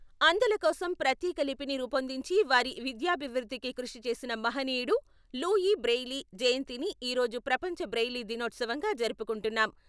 అంధులకోసం ప్రత్యేక లిపిని రూపొందించి, వారి విద్యాభివృద్ధికి కృషి చేసిన మహనీయుడు లూఈ బ్రెయిలీ జయంతిని ఈ రోజు ప్రపంచ బ్రెయిలీ దినోత్సవంగా జరుపుకుంటున్నాం.